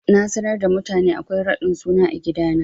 Na sanar da mutane akwai raɗin suna a gidana.